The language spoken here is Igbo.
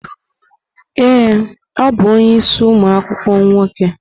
Ee, ọ bụ onye isi umu akwukwuo nwoke.